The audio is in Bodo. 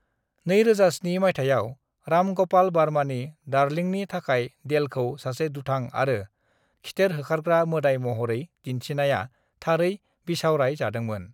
"2007 माइथायाव, राम गपाल वर्मानि डार्लिंनि थाखाय देलखौ सासे दुथां आरो खिथेर होखारग्रा मोदाय महरै दिन्थिनाया थारै बिसावराय जादोंमोन।"